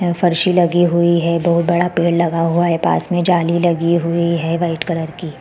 यहा फर्श ही लगी हुई है दो बड़ा पेड़ लगा हुआ है पास में जाली लगी हुई है वाइट कलर की --